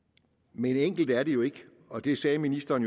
men enkelt er det jo ikke og det sagde ministeren